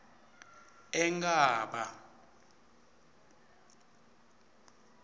enkhaba